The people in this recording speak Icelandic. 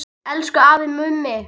Elsku afi Mummi.